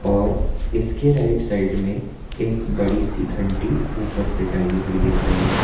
और इसके right side में एक बड़ी सी घंटी ऊपर से टंगी हुई दिख रही है।